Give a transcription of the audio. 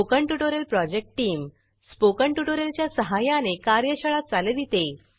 spoken tutorial project team spoken tutorial च्या सहाय्याने कार्यशाळा चालविते